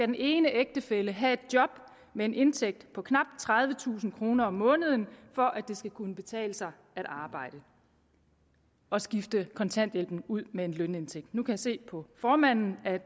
den ene af ægtefællerne skal have et job med en indtægt på knap tredivetusind kroner om måneden for at det skal kunne betale sig at arbejde og skifte kontanthjælpen ud med en lønindtægt nu kan jeg se på formanden at